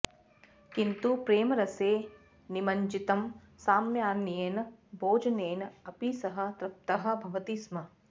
किन्तु प्रेमरसे निमज्जितं सामान्येन भोजनेन अपि सः तृप्तः भवति स्म